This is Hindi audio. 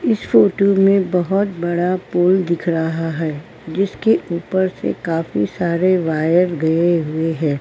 इस फोटो में बहुत बड़ा पोल दिख रहा है जिसके उपर से काफी सारे वायर गए हुए हैं।